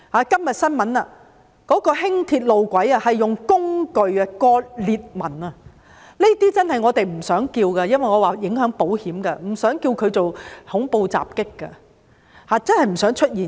今天新聞報道，輕鐵路軌被人用工具切割，出現裂紋，這些我們真的不想稱之為恐怖襲擊，因為影響到保險，真的不想出現。